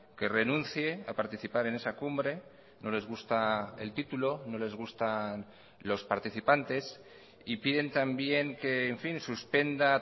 que renuncie a participar en esa cumbre no les gusta el título no les gustan los participantes y piden también que en fin suspenda